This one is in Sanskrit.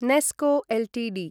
नेस्को एल्टीडी